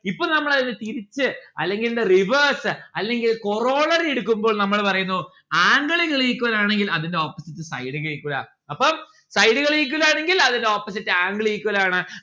ഇപ്പം നമ്മള് അതിനെ തിരിച്ച് അല്ലെങ്കിൽ the reverse അല്ലെങ്കിൽ എടുക്കുമ്പോൾ നമ്മള് പറയുന്നു angle കൾ equal ആണെങ്കിൽ അതിന്റെ opposite side ഉകൾ equal അപ്പം side ഉകൾ equal ആണെന്കിൽ അതിന്റെ opposite angle equal ആണ്